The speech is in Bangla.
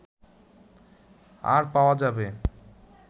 আর পাওয়া যাবে